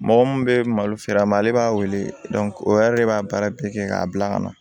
Mɔgɔ mun bɛ malo feere a ma ale b'a wele o yɛrɛ de b'a baara bɛɛ kɛ k'a bila ka na